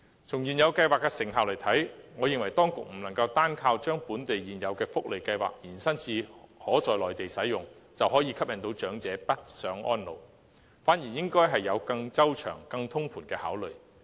從現有計劃的成效來看，我認為當局不能單靠將本地現有的福利計劃延伸至內地使用，便可吸引長者北上安老，反而應該有更周詳、更通盤的考慮。